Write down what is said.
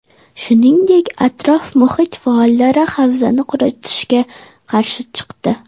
Shuningdek, atrof-muhit faollari havzani quritilishga qarshi chiqdi.